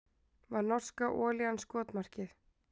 Var norska olían skotmarkið